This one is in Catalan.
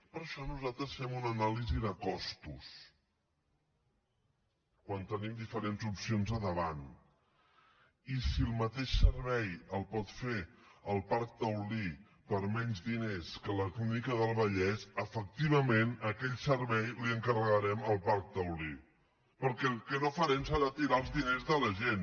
per això nosaltres fem una anàlisi de costos quan tenim diferents opcions a davant i si el mateix servei el pot fer el parc taulí per menys diners que la clínica del vallès efectivament aquell servei l’encarregarem al parc taulí perquè el que no farem serà tirar els diners de la gent